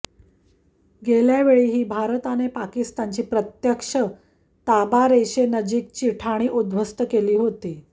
गेल्यावेळीही भारताने पाकिस्तानची प्रत्यक्ष ताबारेषेनजीकची ठाणी उध्वस्त केली होती